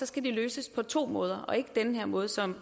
skal de løses på to måder og ikke på den her måde som